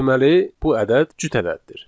Deməli, bu ədəd cüt ədəddir.